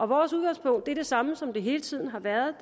vores udgangspunkt er det samme som det hele tiden har været